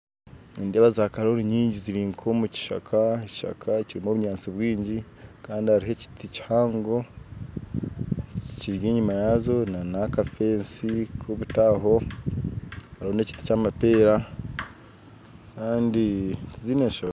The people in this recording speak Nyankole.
Nindeeba zakaroori nyingi ziri omukishaka ekishaka kirimu obunyatsi bwingi Kandi hariho ekiti kihango kiri enyuma yaazo nana akago nobuti aho hariho n'emiti kyamapeera Kandi tiziine nshonga